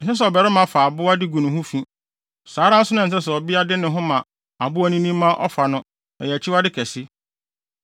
“ ‘Ɛnsɛ sɛ ɔbarima fa aboa de gu ne ho fi. Saa ara nso na ɛnsɛ sɛ ɔbea de ne ho ma aboanini ma ɔfa no. Ɛyɛ akyiwade kɛse.